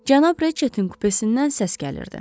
Cənab Riçetin kupesindən səs gəlirdi.